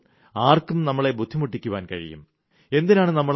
അങ്ങിനെ വരുമ്പോൾ ആർക്കും നമ്മളെ ബുദ്ധിമുട്ടിപ്പിക്കാൻ കഴിയും